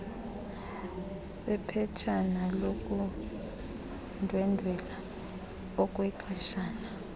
sephetshana lokundwendwela okwexeshana